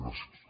gràcies